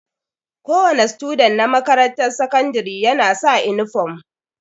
Kowa ne student na makarantar sakandire ya na sa inifam